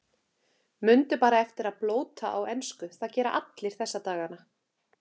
Mundu bara eftir að blóta á ensku, það gera allir þessa dagana.